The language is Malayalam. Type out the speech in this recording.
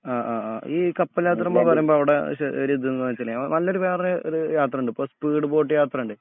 ആ ആ ആ ഈ കപ്പൽയാത്ര എന്നുപറയുമ്പോൾ അവിടെ ഒരു ഇതുന്നു വെച്ചാല് നല്ലൊരു വേറൊരു യാത്രയുണ്ട് ഇപ്പോ സ്പീഡ്ബോട്ട് യാത്രയുണ്ട്